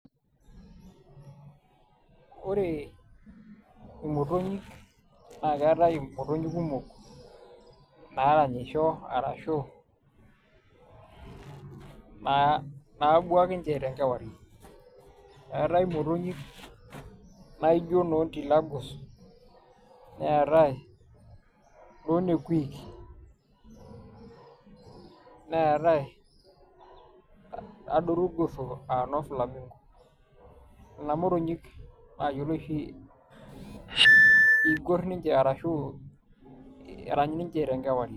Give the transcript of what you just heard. ore imotonyik naa keetae imotonyik kumok naaranyisho ashu naabuak nince tenkewari. eetae motonyik naijo noo ntilagos, neetae noo nekuiik, neetae adoru irgoso aa noo famingo. nena motonyik naayioloi oshi igor ninche arashu igor ninche tenkewarie.